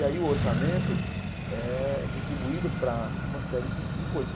E aí o orçamento é distribuído para uma série de de coisas.